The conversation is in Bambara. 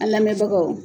An lamɛnbagaw